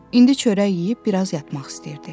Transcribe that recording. İndi çörək yeyib biraz yatmaq istəyirdi.